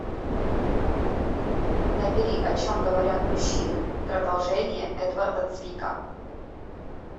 набери о чем говорят мужчины продолжение эдварда цвика